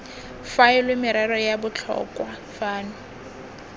faelwe merero ya botlhokwa fano